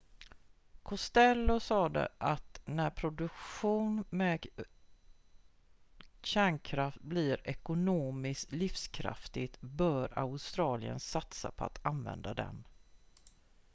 costello sade att när produktion med kärnkraft blir ekonomiskt livskraftig bör australien satsa på att använda den